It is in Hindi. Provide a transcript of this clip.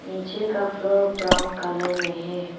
निचे का फ्लोर ब्राउन कलर में है।